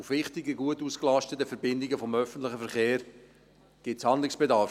Bei wichtigen, gut ausgelasteten Verbindungen des öffentlichen Verkehrs gibt es Handlungsbedarf.